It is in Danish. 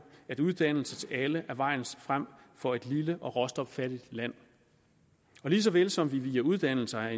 at uddannelse til alle er vejen frem for et lille og råstoffattigt land og lige så vel som vi via uddannelse har